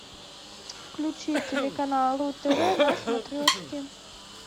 включи телеканал ру тв на смотрешке